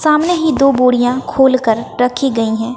सामने ही दो बोरियां खोल कर रखी गई हैं।